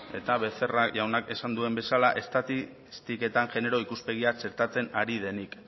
eta becerra jaunak esan duen bezala estatistiketan genero ikuspegia txertatzen ari denik